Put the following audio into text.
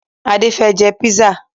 Adé fẹ́ jẹ písà